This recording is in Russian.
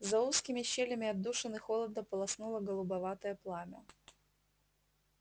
за узкими щелями отдушины холодно полоснуло голубоватое пламя